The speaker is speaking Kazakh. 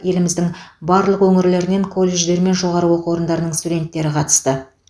еліміздің барлық өңірлерінен колледждер мен жоғары оқу орындарының студенттері қатысты